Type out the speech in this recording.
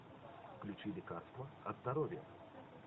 включи лекарство от здоровья